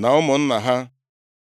na ụmụnna ha.